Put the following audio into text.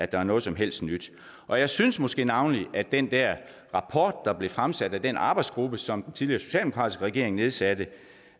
der er noget som helst nyt og jeg synes måske navnlig at den der rapport der blev fremsat af den arbejdsgruppe som den tidligere socialdemokratiske regering nedsatte